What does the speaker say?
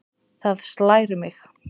Það slær mig.